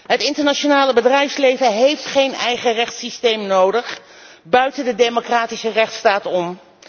Het internationale bedrijfsleven heeft geen eigen rechtssysteem nodig buiten de democratische rechtsstaat om.